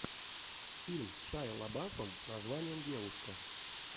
фильм с шайа лабафом с названием девушка